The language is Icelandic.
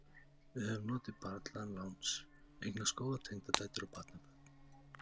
Við höfum notið barnaláns, eignast góðar tengdadætur og barnabörn.